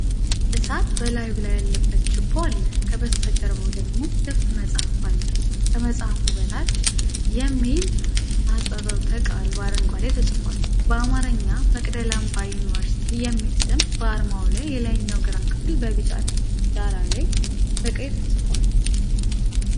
እሳት በላዩ ላይ ያለበት ችቦ አለ፤ ከበስተጀርባው ደግሞ ክፍት መጽሐፍ አለ። ከመጽሐፉ በታች "MAU" የሚል አህጽሮተ ቃል በአረንጓዴ ተጽፏል። በአማርኛ "መቅደላ አምባ ዩኒቨርሲቲ" የሚለው ስም በአርማው የላይኛው ግራ ክፍል በቢጫ ዳራ ላይ በቀይ ተጽፏል።